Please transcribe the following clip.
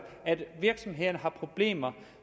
at virksomhederne har problemer